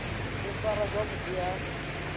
u farwa zwavhu ḓi ha